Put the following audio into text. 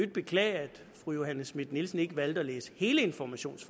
beklage at fru johanne schmidt nielsen ikke valgte at læse hele informations